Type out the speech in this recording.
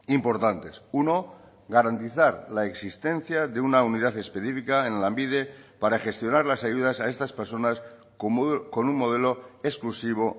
importantes uno garantizar la existencia de una unidad específica en lanbide para gestionar las ayudas a estas personas con un modelo exclusivo